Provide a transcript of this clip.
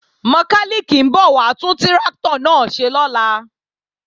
Mọkálìkì ń bọ̀ wá tún tráktọ̀ náà ṣe lọ́la